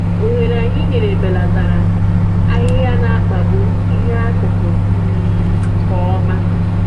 Ohere anyị nyere belatara ahịhịa na-akpagbu ihe akụkụ um nke ọma